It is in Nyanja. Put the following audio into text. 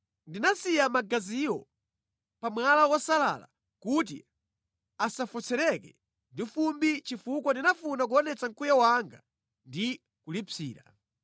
Ndinasiya magaziwo pa mwala wosalala kuti asafotseredwe ndi fumbi chifukwa ndinafuna kuonetsa mkwiyo wanga ndi kulipsira.